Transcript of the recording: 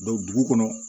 dugu kɔnɔ